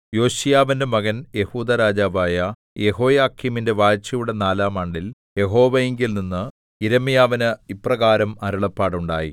യോശീയാവിന്റെ മകൻ യെഹൂദാ രാജാവായ യെഹോയാക്കീമിന്റെ വാഴ്ചയുടെ നാലാം ആണ്ടിൽ യഹോവയിങ്കൽനിന്ന് യിരെമ്യാവിന് ഇപ്രകാരം അരുളപ്പാടുണ്ടായി